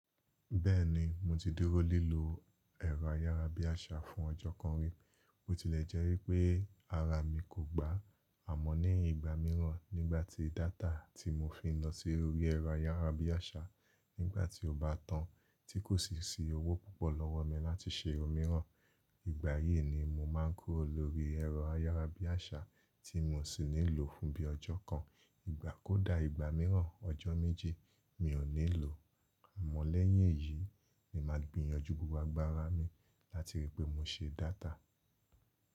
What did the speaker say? Bẹ́ẹ̀ni mo ti dúró lílo ẹ̀rọ ayárabíàṣá fún ọjọ́ kan rí, bó tilẹ̀ jẹ́ wípe ara mi kò gbá á mọ́ ní ìgbà mìíràn nígbàtí data tí mo fi ń lọ sí orí ẹ̀rọ ayárabíàṣá á mọ́ ní ìgbà mìíràn nígbàtí data tí mo fi ń lọ sí orí ẹ̀rọ ayárabíàṣá Ìgbà yìí ni mo máa ń kúrò lórí ẹ̀rọ ayárabíàṣá tí mo sì níi lò fún bí ọjọ́ kan. Ìgbà kó dà ìgbà mìíràn ọjọ́ méji, mi ò nílò. Àmọ́ lẹ́yìn èyí ni màá gbìyànjú gbogbo agbára mi láti ríi pé mo se data.